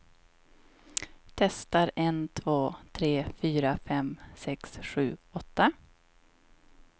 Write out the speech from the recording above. Testar en två tre fyra fem sex sju åtta.